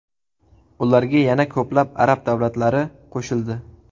Ularga yana ko‘plab arab davlatlari qo‘shildi.